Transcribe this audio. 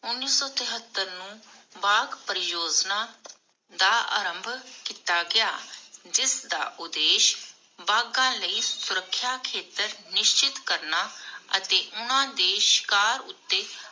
ਉਨੀਸ ਸੌ ਤਿਹਾੱਟਰ ਨੂੰ ਬਾਘ ਪਰਿਯੋਜਨਾ ਦਾ ਆਰੰਭ ਕੀਤਾ ਗਿਆ, ਜਿਸਦਾ ਉਦੇਸ਼ ਬਾਘਾਂ ਲਈ ਸੁਰੱਖਿਆ ਖੇਤਰ ਨਿਸ਼ਚਿਤ ਕਰਨਾ ਅਤੇ ਉਨਹਾਂਦੇ ਸ਼ਿਕਾਰ ਉਤੇ